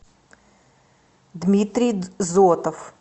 дмитрий зотов